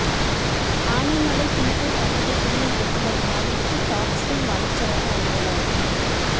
ஆனைமலை புலிகள் காப்பக துணை இயக்குனர் மாரிமுத்து டாப்சிலிப் வனச்சரக அலுவலர்